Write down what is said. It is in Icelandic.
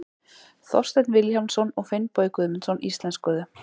Þorsteinn Vilhjálmsson og Finnbogi Guðmundsson íslenskuðu.